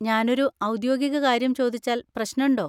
ഞാനൊരു ഔദ്യോഗിക കാര്യം ചോദിച്ചാൽ പ്രശ്നണ്ടോ?